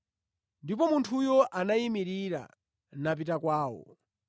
Ndipo munthuyo anayimirira napita kwawo.